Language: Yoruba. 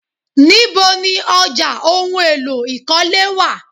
Níbo ni ọjà ohùn èlò ikọle wá?